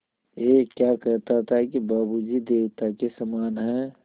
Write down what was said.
ऐं क्या कहता था कि बाबू जी देवता के समान हैं